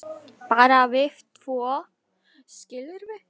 bara við tvö, skilurðu.